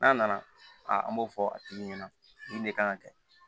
N'a nana an b'o fɔ a tigi ɲɛna nin de kan ka kɛ